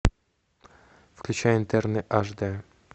включай интерны аш д